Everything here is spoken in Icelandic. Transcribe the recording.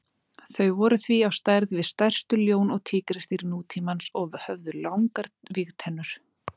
Þau voru því á stærð við stærstu ljón og tígrisdýr nútímans og höfðu langar vígtennur.